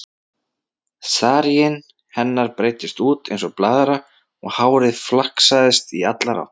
Saríinn hennar breiddist út eins og blaðra og hárið flaksaðist í allar áttir.